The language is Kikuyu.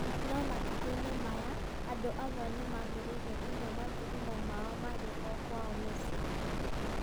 No matukũ-inĩ maya andũ amwe nĩ maambĩrĩirie kũnyua mathugumo mao marĩ o kwao mĩciĩ.